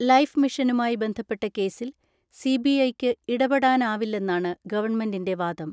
Life മിഷനുമായി ബന്ധപ്പെട്ട കേസിൽ സിബിഐയ്ക്ക് ഇടപെടാനാവില്ലെന്നാണ് ഗവൺമെന്റിൻ്റെ വാദം.